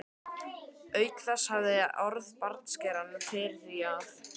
Auk þess hafði hann orð bartskerans fyrir því að